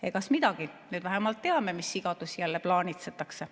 Egas midagi, nüüd me vähemalt teame, mis sigadusi jälle plaanitsetakse.